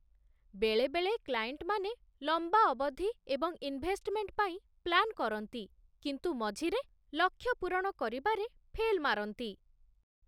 ବେଳେବେଳେ କ୍ଲାଏଣ୍ଟମାନେ ଲମ୍ବା ଅବଧି ଏବଂ ଇନ୍‌ଭେଷ୍ଟମେଣ୍ଟ ପାଇଁ ପ୍ଲାନ୍ କରନ୍ତି, କିନ୍ତୁ ମଝିରେ ଲକ୍ଷ୍ୟ ପୂରଣ କରିବାରେ ଫେଲ୍ ମାରନ୍ତି